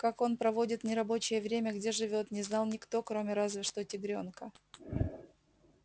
как он проводит нерабочее время где живёт не знал никто кроме разве что тигрёнка